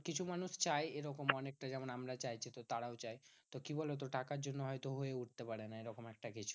কিছু মানুষ চায় এরকম অনেকটা। যেমন আমরা চাইছি তো তারাও চায় তো কি বলতো? টাকার জন্য হয়তো হয়ে উঠতে পারে না এরকম একটা কিছু।